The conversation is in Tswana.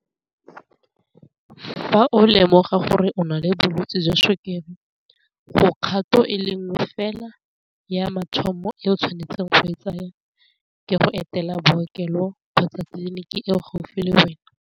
Fa o lemoga gore o na le bolwetsi jwa sukiri go kgato e lengwe fela ya mathomo e o tshwanetseng go e tsaya ke go etela bookelo kgotsa tliliniki e o gaufi le wena.